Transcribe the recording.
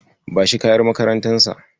Bashi kayan makarantarsa.